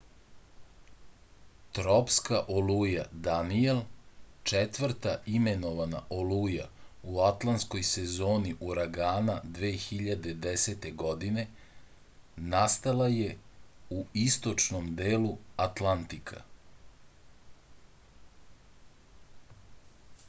tropska oluja danijel četvrta imenovana oluja u atlantskoj sezoni uragana 2010. godine nastala je u istočnom delu atlantika